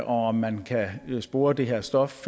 og om man kan spore det her stof